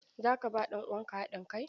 Za ka ba ɗan uwanka hadin kai?